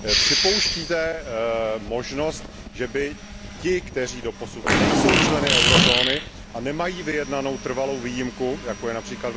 Připouštíte možnost, že by ty země, které doposud nejsou členy eurozóny a nemají vyjednanou trvalou výjimku, jakou má např.